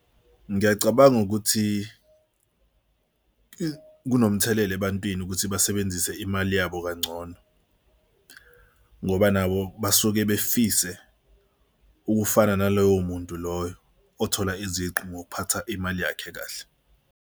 Ngiyacabanga ukuthi kunomthelela ebantwini ukuthi basebenzise imali yabo kangcono ngoba nabo basuke befise ukufana naloyo muntu loyo othola iziqu ngokuphatha imali yakhe kahle.